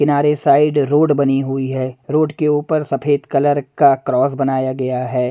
किनारे side road बनी हुई है रोड के ऊपर सफेद कलर का क्रॉस बनाया गया है।